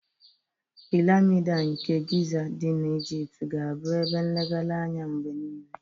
Piramid nke Giza dị na Ejipt ga-abụ ebe nlegharị anya mgbe niile.